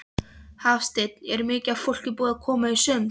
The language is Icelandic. Hafsteinn: Er mikið af fólki búið að koma í sund?